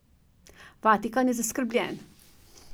Vatikan je zaskrbljen.